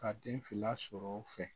Ka den fila sɔrɔ u fɛ